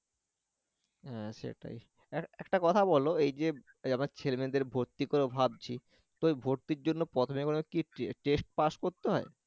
হ্যাঁ সেটাই একটা কথা বল এই যে এ আমার ছেলে মেয়েদের ভর্তি করাবো ভাবছি তো ওই ভর্তির জন্য প্রথমে বলে কি test করতে হয়?